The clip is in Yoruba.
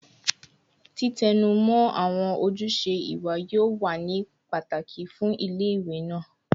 Titẹnumọ awọn ojuse iwa yoo wa ni pataki fun ile-iwe naa